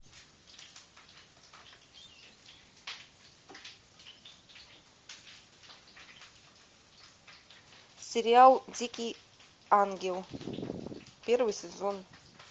сериал дикий ангел первый сезон